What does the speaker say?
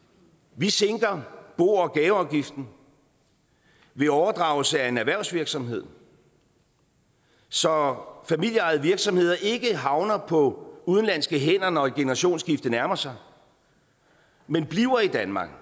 vi sænker bo og gaveafgiften ved overdragelse af en erhvervsvirksomhed så familieejede virksomheder ikke havner på udenlandske hænder når et generationsskifte nærmer sig men bliver i danmark